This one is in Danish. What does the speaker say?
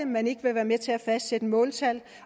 man ikke være med til at fastsætte måltal